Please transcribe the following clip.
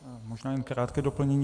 Možná jen krátké doplnění.